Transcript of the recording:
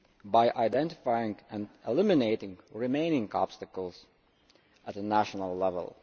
by identifying and eliminating remaining obstacles at national level.